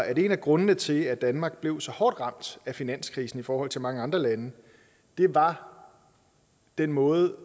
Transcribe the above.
at en af grundene til at danmark blev så hårdt ramt af finanskrisen i forhold til mange andre lande var den måde